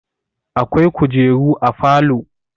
Akwai kujeru a falo.